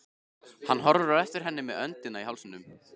Hann horfði á eftir henni með öndina í hálsinum.